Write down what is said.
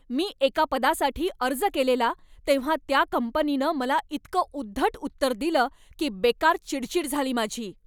मी एका पदासाठी अर्ज केलेला तेव्हा त्या कंपनीनं मला इतकं उद्धट उत्तर दिलं की बेकार चिडचिड झाली माझी.